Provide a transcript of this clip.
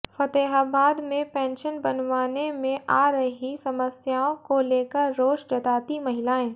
फतेहाबाद में पेंशन बनवाने में आ रही समस्याओं को लेकर रोष जताती महिलाएं